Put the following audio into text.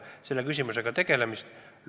See oli nagu kahtluse alla seatud.